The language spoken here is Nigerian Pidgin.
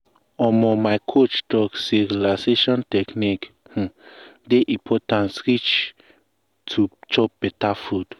um my coach talk say relaxation technique um dey important reach to chop beta food.